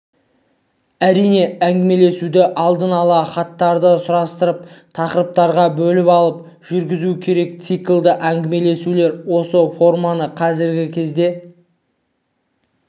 әрине әңгімелесуді алдын-ала хаттарды сұрыптап тақырыптарға бөліп алып жүргізу керек циклді әңгімелесулер осы форманы қазіргі кезде